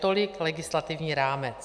Tolik legislativní rámec.